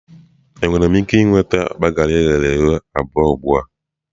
Enwere m ike nweta akpa garị eghere eghe abụọ ugbu a?